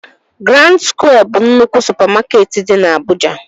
Grand skwịe bụ nnukwu supamakeetị dị na Abụja